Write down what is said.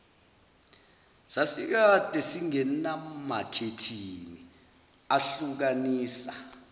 sasikade singenamakhethini ahlukanisa